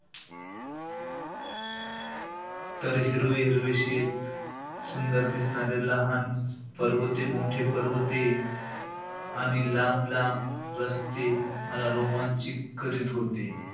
तर हिरवे-हिरवे शेत, सुंदर दिसणारे लहान पर्वते, मोठे पर्वते आणि लांब-लांब रस्ते मला रोमांचित करीत होते.